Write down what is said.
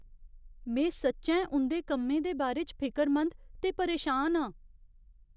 में सच्चैं उं'दे कम्में दे बारे च फिकरमंद ते परेशान आं।